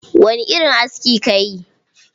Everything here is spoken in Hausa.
Wani irin aski kayi?